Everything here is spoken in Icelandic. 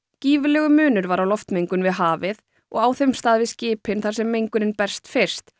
gífurlegur munur var á loftmengun við hafið og á þeim stað við skipin þar sem mengunin berst fyrst